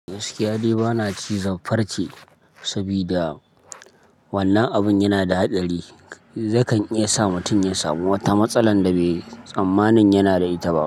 Gaskiya dai ba na ci zan farce saboda wannan abun yana da haɗari. Ya kan iya sa mutum ya sami wata matsala da bai tsammani yana da ita ba.